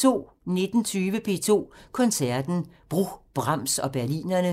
19:20: P2 Koncerten – Bruch, Brahms og Berlinerne